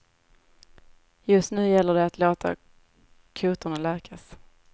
Just nu gäller det att låta kotorna läkas.